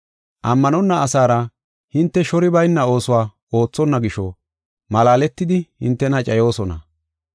Ammanonna asaara hinte shori bayna oosuwa oothonna gisho malaaletidi hintena cayoosona.